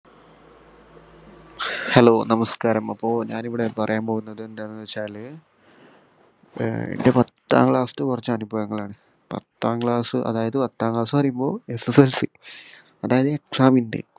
hello നമസ്കാരം അപ്പോ ഞാനിവിടെ പറയാൻ പോകുന്നത് എന്താന്ന് വെച്ചാല് ഏർ എന്റെ പത്താം class തെ കുറച്ച് അനുഭവങ്ങളാണ് പത്താം class അതായത് പത്താം class ന്ന് പറയുമ്പോ SSLC അതായത് exam ഇന്റെ